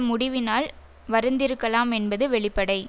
முடிவினால் வருந்திருக்கலாம் என்பது வெளிப்படை